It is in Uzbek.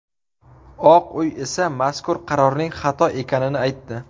Oq uy esa mazkur qarorning xato ekanini aytdi.